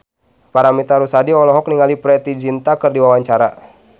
Paramitha Rusady olohok ningali Preity Zinta keur diwawancara